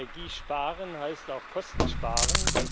Energie sparen heißt auch Kosten sparen.